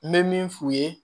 N bɛ min f'u ye